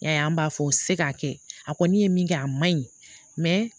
N y'a ye an b'a fɔ se k'a kɛ a kɔni ye min kɛ a ma ɲi